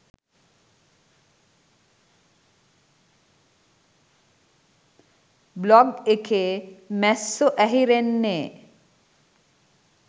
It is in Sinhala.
බ්ලොග් එකේ මැස්සො ඇහිරෙන්නෙ?